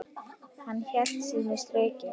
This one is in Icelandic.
Hann hélt sínu striki.